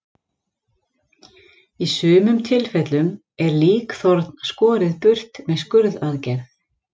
Í sumum tilfellum er líkþorn skorið burt með skurðaðgerð.